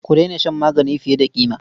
Ku daina shan magani fiye da ƙima.